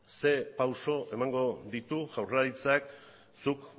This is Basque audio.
zein pauso emango ditu jaurlaritzak zuk